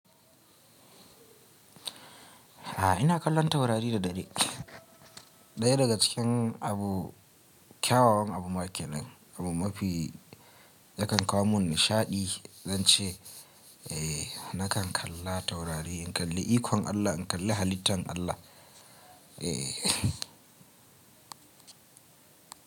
A'a ina kallon taurari da dare. Ɗaya daga cikin abu kyawawan abu ma ke nan abu mafi yakan kawo mun nishaɗi zan ce eh nakan kalla taurari in kalli ikon Allah in kalli halittan Allah. Eh.